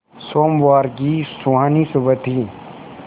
सोमवार की सुहानी सुबह थी